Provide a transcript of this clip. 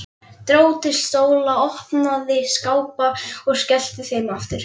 Dró til stóla, opnaði skápa og skellti þeim aftur.